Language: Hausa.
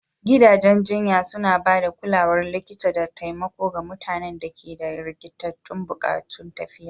gidajen jinya suna ba da kulawar likita da taimako ga mutanen da ke da rikitattun buƙatun lafiya